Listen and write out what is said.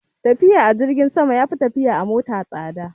Tafiya a jirgin sama ya fi tafiya a mota tsada